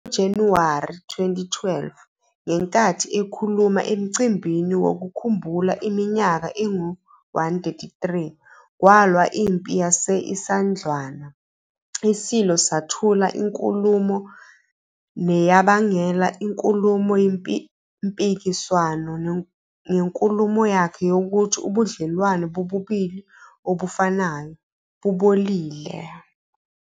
NgoJanuwari 2012, ngenkathi ekhuluma emcimbini wokukhumbula iminyaka engu-133 kwalwa iMpi yase-Isandlwana, iSilo sathula inkulumo neyabangela inkulumo mpikiswano ngenkulumo yakhe yokuthi ubudlelwano bobulili obufanayo "bubolile".